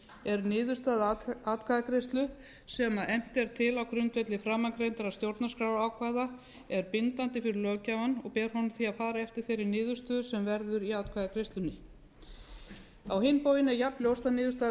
er niðurstaða atkvæðagreiðslu sem efnt er til á grundvelli framangreindra stjórnarskrárákvæða bindandi fyrir löggjafann og ber honum því að fara eftir þeirri niðurstöðu sem verður í atkvæðagreiðslunni á hinn bóginn er jafnljóst að niðurstaða